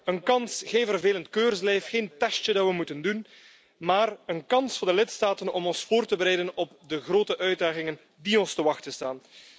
Een kans, geen vervelend keurslijf, geen testje dat we moeten doen, maar een kans voor de lidstaten om ons voor te bereiden op de grote uitdagingen die ons te wachten staan.